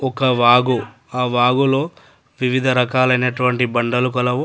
ఒక వాగు ఆ వాగులో వివిధ రకాలైనటువంటి బండలు గలవు.